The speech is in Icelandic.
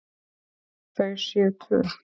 Þau séu tvö.